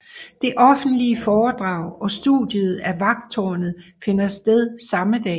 Det offentlige foredrag og studiet af Vagttårnet finder sted samme dag